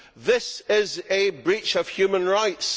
This is a breach of human rights.